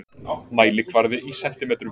Mælikvarði í sentimetrum.